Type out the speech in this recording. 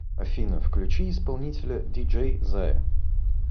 афина включи исполнителя диджей зая